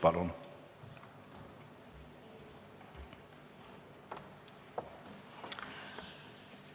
Palun!